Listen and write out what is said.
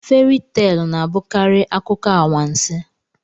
Feri teelụ na-abụkarị akụkọ anwansị.